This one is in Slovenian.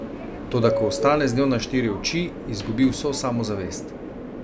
Toda ko ostane z njo na štiri oči, izgubi vso samozavest.